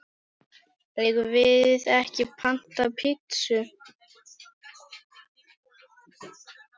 Eigum við ekki panta pitsu?